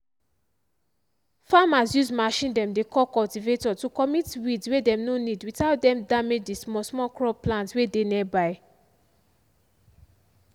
farmers use machine dem dey call cultivator to commit weeds way dem no need without dem damage the smallsmall crop plant way dey nearby.